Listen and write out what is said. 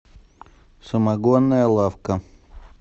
самогонная лавка